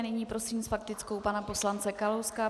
A nyní prosím s faktickou pana poslance Kalouska.